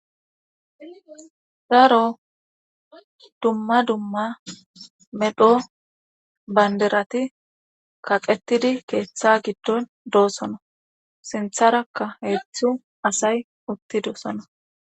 Daro dumma dumma medho banderati kaqetidi keeththa giddon doosona sintharakka heetzthu asay uttidosona.